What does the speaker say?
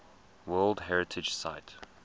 world heritage site